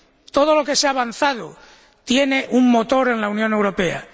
Todo lo que se ha avanzado tiene un motor en la Unión Europea.